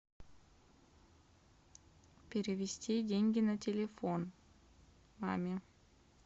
перевести деньги на телефон маме